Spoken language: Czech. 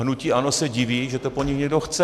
Hnutí ANO se diví, že to po nich někdo chce.